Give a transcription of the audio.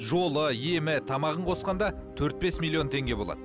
жолы емі тамағын қосқанда төрт бес миллион теңге болады